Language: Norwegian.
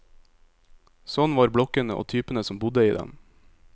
Sånn var blokkene, og typene som bodde i dem.